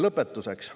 Lõpetuseks.